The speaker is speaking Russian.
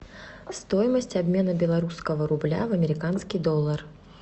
стоимость обмена белорусского рубля в американский доллар